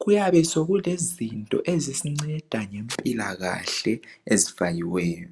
kuyabe sokulezinto ezisinceda ngempilakahle ezifakiweyo